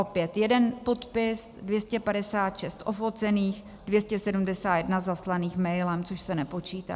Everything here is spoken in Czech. Opět jeden podpis, 256 ofocených, 271 zaslaných mailem, což se nepočítá.